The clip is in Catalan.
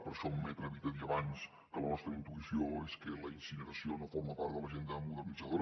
per això m’he atrevit a dir abans que la nostra intuïció és que la incineració no forma part de l’agenda modernitzadora